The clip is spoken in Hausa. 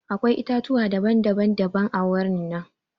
Akwai itãtuwa daban daban-daban a wurin nan.